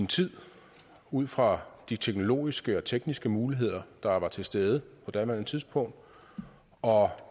tid ud fra de teknologiske og tekniske muligheder der var til stede på daværende tidspunkt og